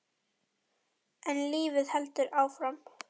En lífið heldur áfram.